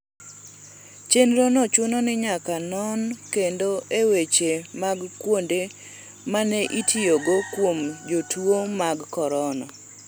chenro no chuno ni nyaka non kendo e weche mag kuonde mane itiyogo kuom jotuo mag korona